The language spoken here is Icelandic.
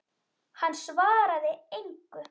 Hann svaraði engu.